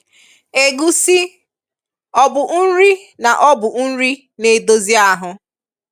Égusi, ọbụ nri na ọbụ nri na - edozị ahụ?